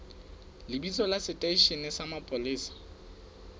lebitso la seteishene sa mapolesa